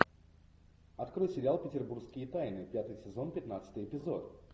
открой сериал петербургские тайны пятый сезон пятнадцатый эпизод